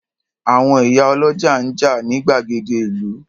Àwọn ìyá ọlọ́jà ń jà ní gbàgede ìlú.